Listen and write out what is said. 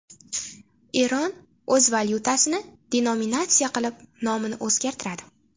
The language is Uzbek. Eron o‘z valyutasini denominatsiya qilib, nomini o‘zgartiradi.